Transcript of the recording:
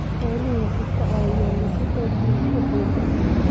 Xooluhu waxay ka caawiyaan dhisidda bulsho xooggan.